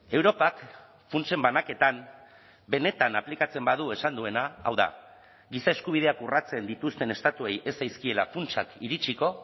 europak funtsen banaketan benetan aplikatzen badu esan duena hau da giza eskubideak urratzen dituzten estatuei ez zaizkiela funtsak iritsiko